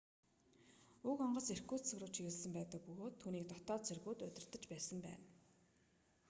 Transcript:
уг онгоц иркутск руу чиглэсэн байсан бөгөөд түүнийг дотоод цэргүүд удирдаж байсан юм